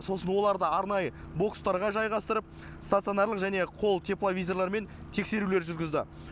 сосын оларды арнайы бокстарға жайғастырып стационарлық және қол тепловизорларымен тексерулер жүргізді